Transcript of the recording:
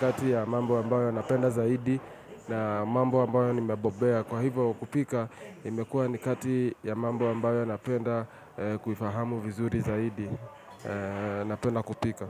kati ya mambo ambayo napenda zaidi na mambo ambayo nimebobea. Kwa hivyo kupika imekuwa ni kati ya mambo ambayo napenda kuifahamu vizuri zaidi. Napenda kupika.